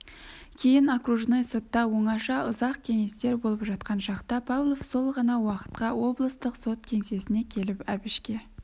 кейін окружной сотта оңаша ұзақ кеңестер болып жатқан шақта павлов сол ғана уақытқа облыстық сот кеңсесіне келіп әбішке